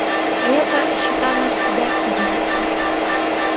а я-то считала себя идиотом